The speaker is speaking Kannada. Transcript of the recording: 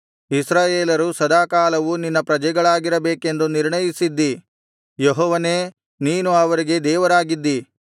ಇಸ್ರಾಯೇಲರು ಸದಾಕಾಲವು ನಿನ್ನ ಪ್ರಜೆಗಳಾಗಿರಬೇಕೆಂದು ನಿರ್ಣಯಿಸಿದ್ದೀ ಯೆಹೋವನೇ ನೀನು ಅವರಿಗೆ ದೇವರಾಗಿದ್ದಿ